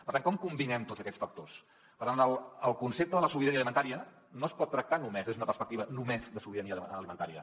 per tant com combinem tots aquests factors per tant el concepte de la sobirania alimentària no es pot tractar només des d’una perspectiva només de sobirania alimentària